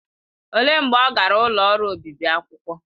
Olee mgbe ọ gara ụlọ ọrụ obibi akwụkwọ?